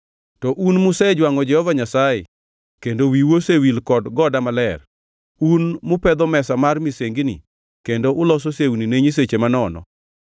“To un musejwangʼo Jehova Nyasaye kendo wiu osewil kod goda maler, un mupedho mesa mar misengini, kendo uloso sewni ne nyiseche manono.